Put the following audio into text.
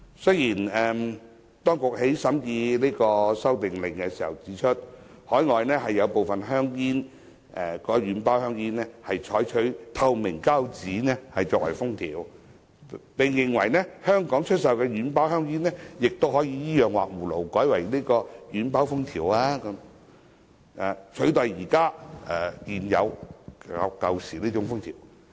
雖然，當局在審議《修訂令》時指出，海外有部分軟包香煙採用透明膠紙作為封條，並認為香港出售的軟包香煙都可以依樣畫葫蘆改用透明膠紙封條，取代現時的舊式封條。